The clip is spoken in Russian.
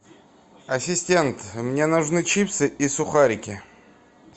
ассистент мне нужны чипсы и сухарики